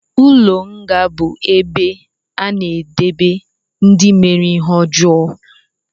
Ụlọ nga bu ebe a na-edebe ndị mere ihe ọjọọ